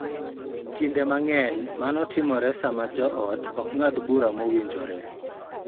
Kinde mang�eny, mano timore sama joot ok ng�ad bura mowinjore .